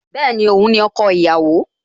Bẹ́ẹ̀ni, Òun ni ọkọ ìyàwó